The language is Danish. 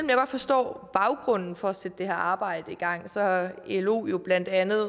jeg godt forstår baggrunden for at sætte det her arbejde i gang så har elo jo blandt andet